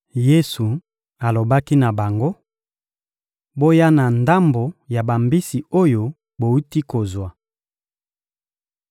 Yesu alobaki na bango: — Boya na ndambo ya bambisi oyo bowuti kozwa.